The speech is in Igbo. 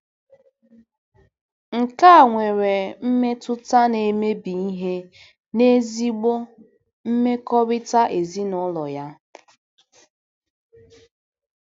Nke a nwere mmetụta na-emebi ihe n'ezigbo mmekọrịta ezinụlọ ya.